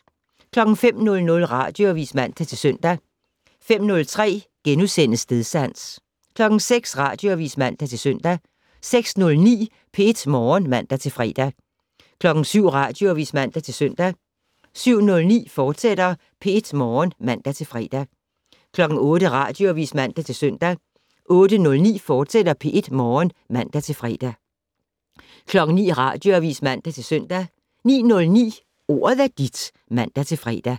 05:00: Radioavis (man-søn) 05:03: Stedsans * 06:00: Radioavis (man-søn) 06:09: P1 Morgen (man-fre) 07:00: Radioavis (man-søn) 07:09: P1 Morgen, fortsat (man-fre) 08:00: Radioavis (man-søn) 08:09: P1 Morgen, fortsat (man-fre) 09:00: Radioavis (man-søn) 09:09: Ordet er dit (man-fre)